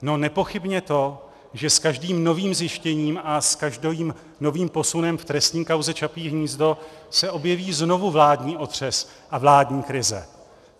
No, nepochybně to, že s každým novým zjištěním a s každým novým posunem v trestní kauze Čapí hnízdo se objeví znovu vládní otřes a vládní krize.